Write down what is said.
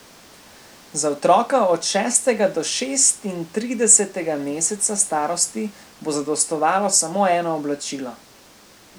Za otroka od šestega do šestintridesetega meseca starosti bo zadostovalo samo eno oblačilo.